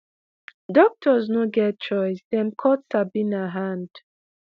doctors no get choice dem cut sabina hand.